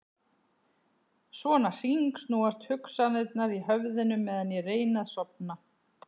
Svona hringsnúast hugsanirnar í höfðinu meðan ég reyni að sofna.